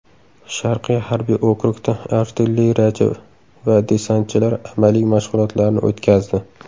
Sharqiy harbiy okrugda artilleriyachi va desantchilar amaliy mashg‘ulotlarni o‘tkazdi .